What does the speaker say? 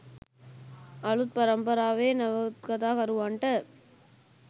අලුත් පරම්පරාවේ නවකතාකරුවන්ට